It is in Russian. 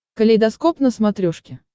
калейдоскоп на смотрешке